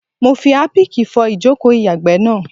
Mo fi Harpic fọ ìjòkó o ìyàgbẹ́ náà.